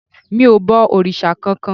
mi o bọ òrìṣà kan-kan